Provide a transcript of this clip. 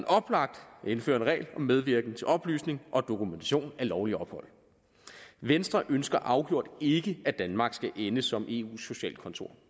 indføre en regel om medvirken til oplysning og dokumentation af lovligt ophold venstre ønsker afgjort ikke at danmark skal ende som eus socialkontor